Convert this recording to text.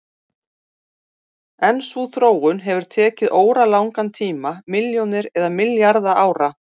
En sú þróun hefur tekið óralangan tíma, milljónir eða milljarða ára.